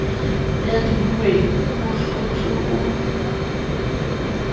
ya dihuweng o hlotswe o